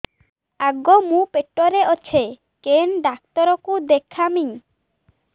ଆଗୋ ମୁଁ ପେଟରେ ଅଛେ କେନ୍ ଡାକ୍ତର କୁ ଦେଖାମି